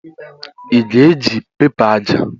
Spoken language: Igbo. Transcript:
Ị ga-eji pẹpa aja?